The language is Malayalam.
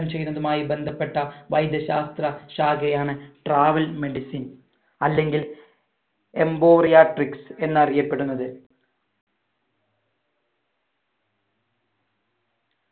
ചെയ്യുന്നതുമായി ബന്ധപ്പെട്ട വൈദ്യശാസ്‌ത്ര ശാഖയാണ് travel medicine അല്ലെങ്കിൽ emporiatrics എന്നറിയപ്പെടുന്നത്